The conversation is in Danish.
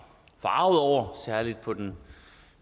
forargede over særlig på den